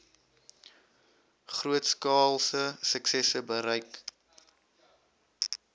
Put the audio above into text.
grootskaalse suksesse bereik